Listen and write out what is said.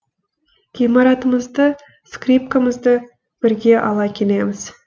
гитарамызды скрипкамызды бірге ала келеміз